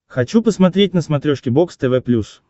хочу посмотреть на смотрешке бокс тв плюс